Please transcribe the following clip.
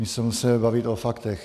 My se musíme bavit o faktech.